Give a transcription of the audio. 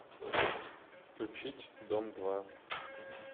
включить дом два